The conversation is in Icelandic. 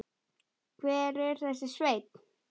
Hver er þessi Sveinn?